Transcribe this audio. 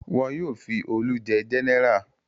Wọn yóò fi Olú jẹ gẹ́nẹrà.